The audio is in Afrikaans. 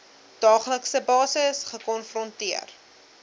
daaglikse basis gekonfronteer